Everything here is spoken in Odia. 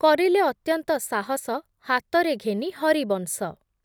କରିଲେ ଅତ୍ୟନ୍ତ ସାହସ, ହାତରେ ଘେନି ହରିବଂଶ